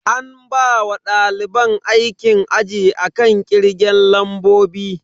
An bawa daliban aikin aji akan kirgen lambobi.